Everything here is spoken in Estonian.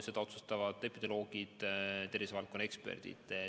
Seda otsustavad epidemioloogid, tervisevaldkonna eksperdid.